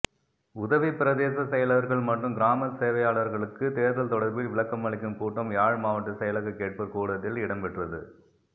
உதவி பிரதேச செயலர்கள் மற்றும் கிராமசேவையாளர்களுக்கு தேர்தல் தொடர்பில் விளக்கமளிக்கும் கூட்டம் யாழ் மாவட்ட செயலக கேட்போர் கூடத்தில் இடம்பெற்றது